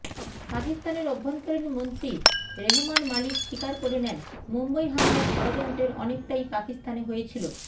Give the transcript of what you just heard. পাকিস্তানের অভ্যন্তরীন মন্ত্রী রেহমান মালিক স্বীকার করে নেন মুম্বই হামলার ষড়যন্ত্রের অনেকটাই পাকিস্তানে হয়েছিল